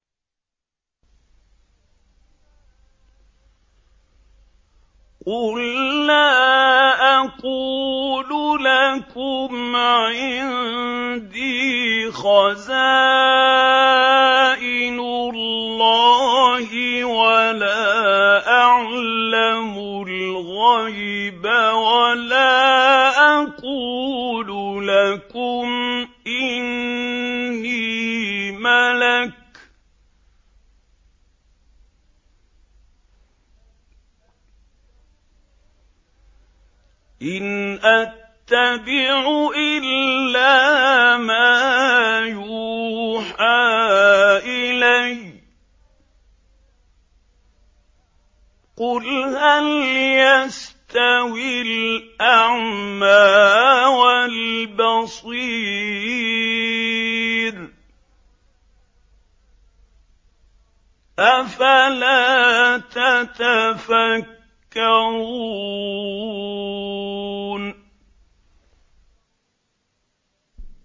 قُل لَّا أَقُولُ لَكُمْ عِندِي خَزَائِنُ اللَّهِ وَلَا أَعْلَمُ الْغَيْبَ وَلَا أَقُولُ لَكُمْ إِنِّي مَلَكٌ ۖ إِنْ أَتَّبِعُ إِلَّا مَا يُوحَىٰ إِلَيَّ ۚ قُلْ هَلْ يَسْتَوِي الْأَعْمَىٰ وَالْبَصِيرُ ۚ أَفَلَا تَتَفَكَّرُونَ